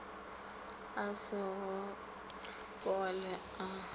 a go se fole a